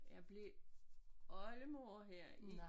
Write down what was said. Jeg blev oldemor her i